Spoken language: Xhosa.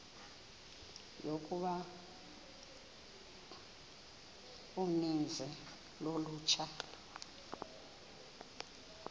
yokuba uninzi lolutsha